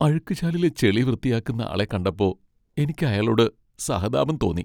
അഴുക്കുചാലിലെ ചെളി വൃത്തിയാക്കുന്ന ആളെ കണ്ടപ്പോ, എനിക്ക് അയാളോട് സഹതാപം തോന്നി.